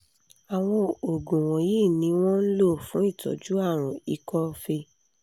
àwọn oògùn wọ̀nyí ni wọ́n ń lò fún ìtọ́jú àrùn ikọ́ fée